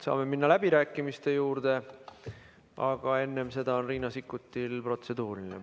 Saame minna läbirääkimiste juurde, aga enne seda on Riina Sikkutil protseduuriline küsimus.